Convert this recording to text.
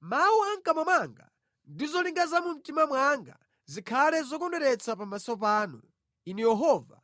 Mawu a mʼkamwa mwanga ndi zolingalira za mu mtima mwanga zikhale zokondweretsa pamaso panu, Inu Yehova,